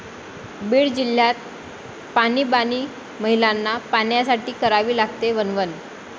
बीड जिल्ह्यात पाणीबाणी, महिलांना पाण्यासाठी करावी लागते वणवण